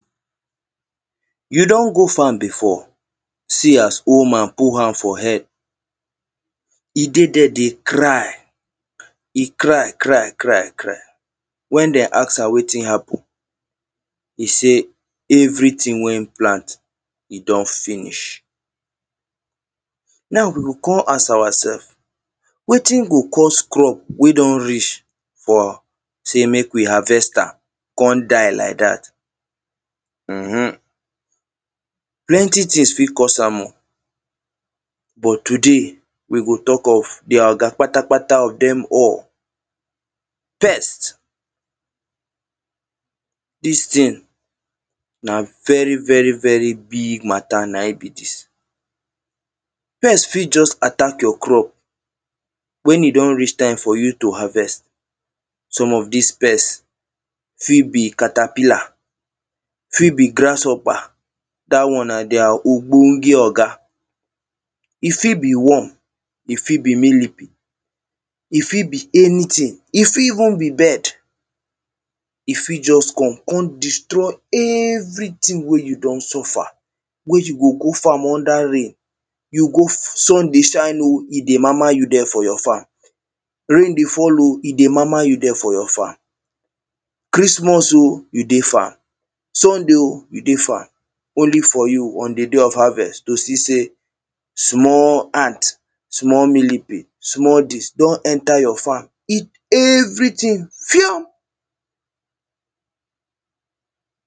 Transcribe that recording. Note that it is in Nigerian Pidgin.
You don go farm before see as whole man put hand for head, He dey there dey cry. He cry, cry, cry, cry. When them ask am wetin happen, He say everything wey e plant, e don finish. Now, we go come ask ourself, wetin go cause crop wey don reach for, say mek we harvest am come die like dat? um Plenty things fit cause am o. But today, we go talk of their oga kpatakpata of them all. First, dis thing na very, very, very big mata na e be dis. Pest fit just attack your crop when e don reach time for you to harvest. Some of dis pest fit be caterpillar, fit be grasshopper, dat one na their ogbonge oga e fit be worm, e fit be millipede, e fit be anything, e fit even be bird. E fit just come, come destroy everything wey you don suffer, wey you go go farm under rain. You go sun dey shine o, e dey mama you there for your farm. Rain dey fall o, e dey mama you there for your farm. Christmas o, you dey farm. Sunday o, you dey farm. Only for you, on the day of harvest to see say small ant, small millipede, small dis, don enter your farm eat everything, fio!